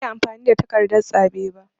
Ban iya amfani da takardan zaɓe ba.